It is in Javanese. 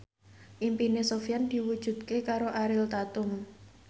impine Sofyan diwujudke karo Ariel Tatum